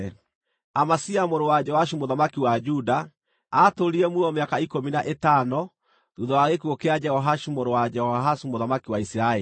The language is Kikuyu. Amazia mũrũ wa Joashu mũthamaki wa Juda aatũũrire muoyo mĩaka ikũmi na ĩtano thuutha wa gĩkuũ kĩa Jehoashu mũrũ wa Jehoahazu mũthamaki wa Isiraeli.